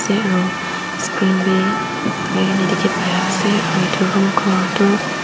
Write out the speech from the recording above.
aru screen bi lagai kina dekhi pai ase aru etu room color tu --